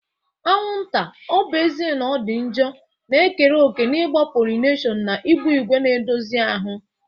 Anwụnta, ọ bụ ezie na ọ dị njọ, na-ekere òkè n'ịgba pollination na ịgba ígwè na-edozi ahụ.